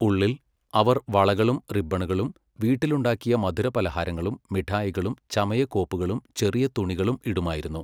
ഉള്ളിൽ, അവർ വളകളും റിബ്ബണുകളും, വീട്ടിലുണ്ടാക്കിയ മധുരപലഹാരങ്ങളും മിഠായികളും ചമയക്കോപ്പുകളും ചെറിയ തുണികളും ഇടുമായിരുന്നു.